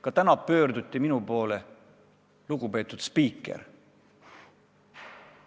Ka täna pöörduti minu poole väljendiga "Lugupeetud spiiker!".